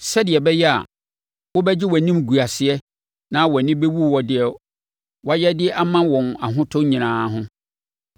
sɛdeɛ ɛbɛyɛ a wobɛgye wʼanimguaseɛ na wʼani bɛwu wɔ deɛ woayɛ de ama wɔn ahotɔ nyinaa ho.